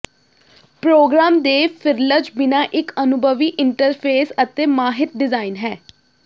programme ਦੇ frills ਬਿਨਾ ਇੱਕ ਅਨੁਭਵੀ ਇੰਟਰਫੇਸ ਅਤੇ ਮਾਹਿਰ ਡਿਜ਼ਾਇਨ ਹੈ